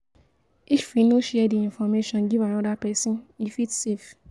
If we no share di information give anoda person e fit safe